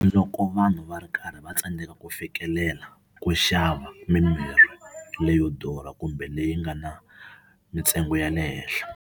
Loko vanhu va ri karhi va tsandzeka ku fikelela ku xava mimirhi leyo durha kumbe leyi nga na mintsengo ya le henhla.